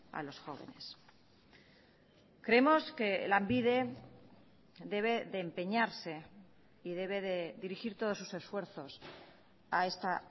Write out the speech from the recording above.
a los jóvenes creemos que lanbide debe de empeñarse y debe de dirigir todos sus esfuerzos a esta